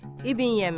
İbn Yəmin.